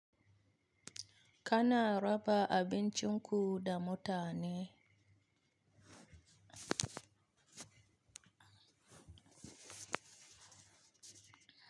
Kana raba abincinku da mutane?